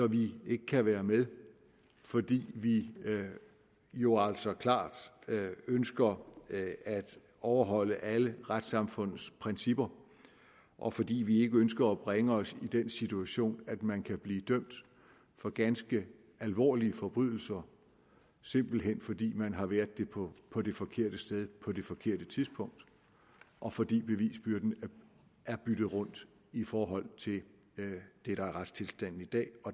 vi ikke kan være med fordi vi jo altså klart ønsker at overholde alle retssamfundets principper og fordi vi ikke ønsker at bringe os i den situation at man kan blive dømt for ganske alvorlige forbrydelser simpelt hen fordi man har været på det forkerte sted på det forkerte tidspunkt og fordi bevisbyrden er byttet rundt i forhold til det der er retstilstanden i dag